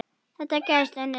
Þetta gæti unnist.